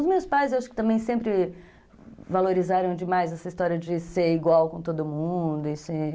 Os meus pais, eu acho que também sempre valorizaram demais essa história de ser igual com todo mundo e ser...